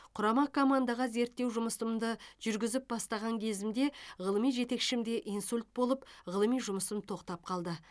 құрама командаға зерттеу жұмысымды жүргізіп бастаған кезімде ғылыми жетекшімде инсульт болып ғылыми жұмысым тоқтап қалды